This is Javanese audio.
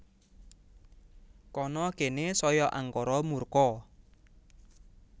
Kana kene saya angkara murka